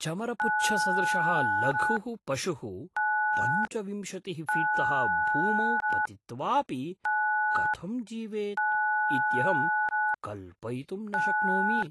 चमरपुच्छसदृशः लघुः पशुः पञ्चविंशतिः फ़ीट्तः भूमौ पतित्वापि कथं जीवेत् इत्यहं कल्पयितुं न शक्नोमि।